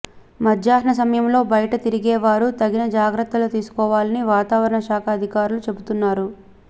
మధ్యాహ్న సమయంలో బయట తిరిగే వారు తగిన జాగ్రత్తలు తీసుకోవాలని వాతావరణ శాఖ అధికారులు చెబుతున్నారు